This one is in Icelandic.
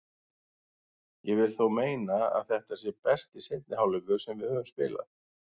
Ég vil þó meina að þetta sé besti seinni hálfleikur sem við höfum spilað.